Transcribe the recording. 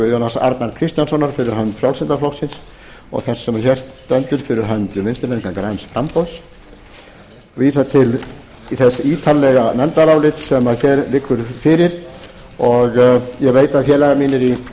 guðjóns arnar kristjánssonar fyrir hönd frjálslynda flokksins og þess sem hér stendur fyrir hönd vinstri hreyfingarinnar græns framboðs og vísa til þessa ítarlega nefndarálits sem hér liggur fyrir og ég veit að félagar mínir